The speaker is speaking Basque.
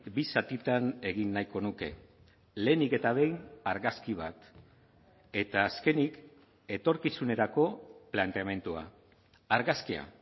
bi zatitan egin nahiko nuke lehenik eta behin argazki bat eta azkenik etorkizunerako planteamendua argazkia